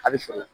A bɛ sɔrɔ